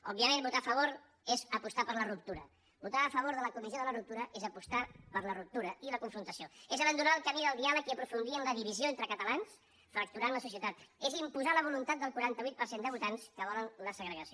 òbviament votar a favor és apostar per la ruptura votar a favor de la comissió de la ruptura és apostar per la ruptura i la confrontació és abandonar el camí del diàleg i aprofundir en la divisió entre catalans i fracturar la societat és imposar la voluntat del quaranta vuit per cent de votants que volen la segregació